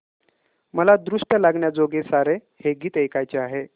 मला दृष्ट लागण्याजोगे सारे हे गीत ऐकायचे आहे